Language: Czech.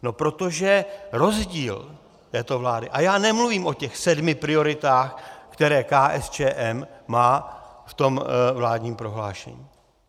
No protože rozdíl této vlády - a já nemluvím o těch sedmi prioritách, které KSČM má v tom vládním prohlášení.